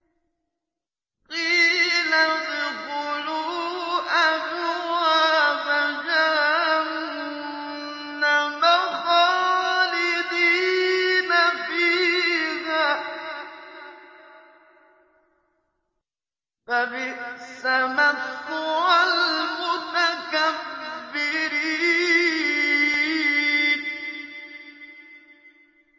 قِيلَ ادْخُلُوا أَبْوَابَ جَهَنَّمَ خَالِدِينَ فِيهَا ۖ فَبِئْسَ مَثْوَى الْمُتَكَبِّرِينَ